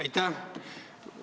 Aitäh!